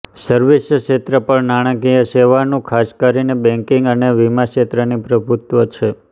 service ક્ષેત્ર પર નાણાંકીય સેવા નુ્ ખાસ કરીને બેન્કિંગ અને વીમા ક્ષેત્રની પ્રભુત્વ છે